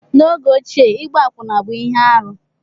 N'oge ochie, ịgba akwụna bụ ihe arụ